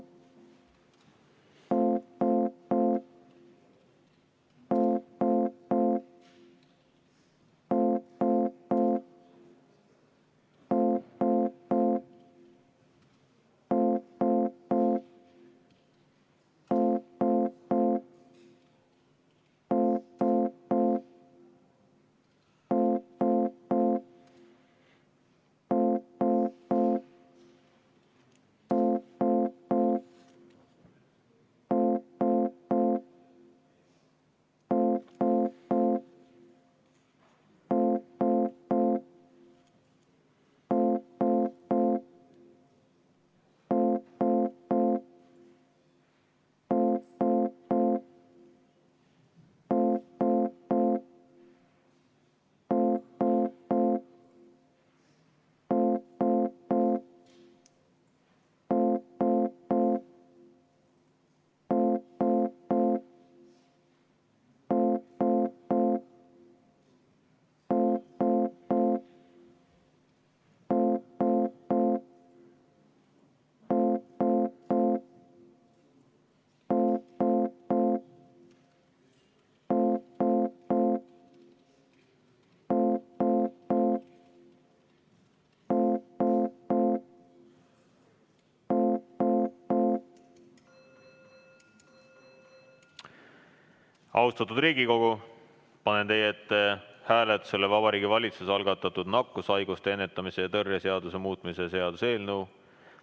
Austatud Riigikogu, panen teie ette hääletusele Vabariigi Valitsuse algatatud nakkushaiguste ennetamise ja tõrje seaduse muutmise seaduse eelnõu.